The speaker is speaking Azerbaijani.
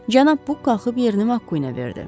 Cənab Buk qalxıb yerini Makə verdi.